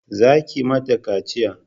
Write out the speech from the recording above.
Za ki ma ta kaciya!